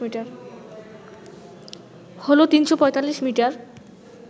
হল ৩৪৫মিটার